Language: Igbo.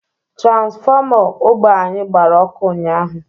Tranfọma ogbe anyi gbara ọkụ ụnyahụ